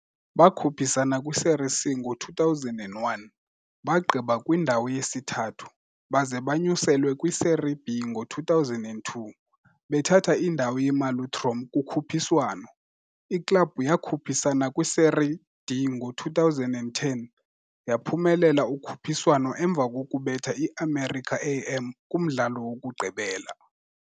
Bakhuphisana kwi-Série C ngo-2001, bagqiba kwindawo yesithathu, baze banyuselwe kwi-Série B ngo-2002, bethatha indawo ye-Malutrom kukhuphiswano. Iklabhu yakhuphisana kwi-Série D ngo-2010, yaphumelela ukhuphiswano emva kokubetha i-América-AM kumdlalo wokugqibela.